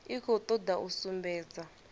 i khou toda u sumbedza